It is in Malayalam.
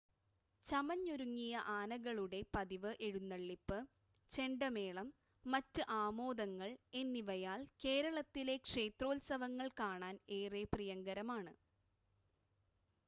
ചമഞ്ഞൊരുങ്ങിയ ആനകളുടെ പതിവ് എഴുന്നള്ളിപ്പ്, ചെണ്ടമേളം, മറ്റ് ആമോദങ്ങൾ എന്നിവയാൽ കേരളത്തിലെ ക്ഷേത്രോത്സവങ്ങൾ കാണാൻ ഏറെ പ്രിയങ്കരമാണ്